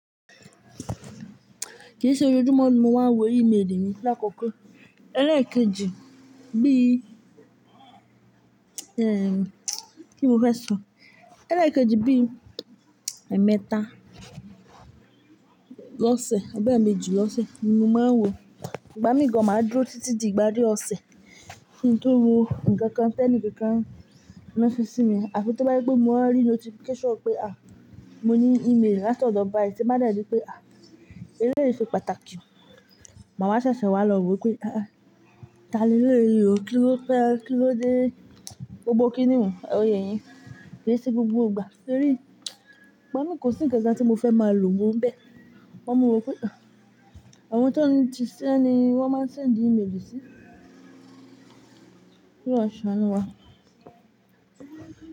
Kì í ṣe ojoojúmó ni mo máa n wo email mi. Lákọ́kọ́ ẹlẹ́ẹ̀kejì bí, kí n mo fẹ́ sọ? Ẹlẹ́ẹ̀kejì bí ẹ̀mẹ́ta lọ́sẹ̀ àbí èmeejì lọ́sẹ̀ ni mo máa ń wo. Ìgbá mi gan máa dúró títí di ìpàrí ọ̀sẹ̀ kí n tó wo nǹkan kan, tẹ́níì kankan fi ranse sí mi. Àfi tó bá jẹ́ pé mo wá rí notification pé, à, mo ní email látọdọ bàì tí máa de ri pé, elẹ́yí ṣe pàtàkì. Màá wa ṣèṣè wá lọ wo pé, à, tá ni elẹ́yí o, kí ló fẹ́, kí ló dé, gbogbo kíniun ò ń yeyín. Kì í ṣe gbogbo ìgbà torí ìgbá mi kò sí nkankan tí mo fẹ́ máa lò wò bẹ́ẹ̀. Sugbon mo wo pé, àwọn tó ń sise ni wọ́n máa ń sẹ́ndi email sí. K'oluwa saanue àná wá?